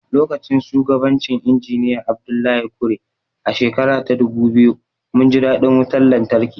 Lokacin shugabancin Injiniya Abdullahi Kure, a shekara ta dubu biyu, mun ji daɗin wutar lantarki.